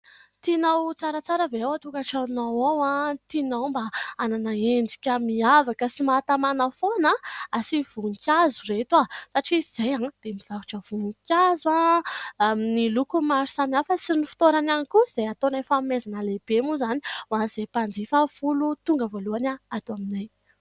Tinao tsaratsara ve ao an-tokantranonao ao tianao mba hanana endrika miavaka sy mahatamana foana ? Asio voninkazo ireto satria izahay dia mivarotra voninkazo amin'ny loko maro samihafa sy ny fitoerany ihany koa izay ataonay fanomezana lehibe moa izany ho an'izay mpanjifa folo tonga voalohany ato aminay.